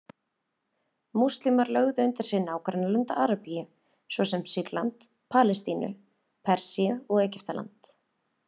Múslímar lögðu undir sig nágrannalönd Arabíu, svo sem Sýrland, Palestínu, Persíu og Egyptaland.